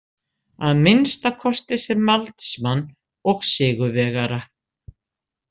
Að minnsta kosti sem valdsmann og sigurvegara.